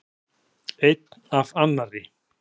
Einni af annarri.